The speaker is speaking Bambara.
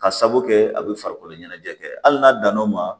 Ka sabu kɛ a bɛ farikolo ɲɛnajɛ kɛ hali n'a dan n'o ma